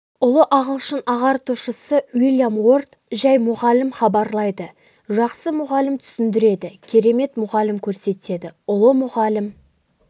ұлы ағылшын ағартушысы уильям уорд жай мұғалім хабарлайды жақсы мұғалім түсіндіреді керемет мұғалім көрсетеді ұлы мұғалім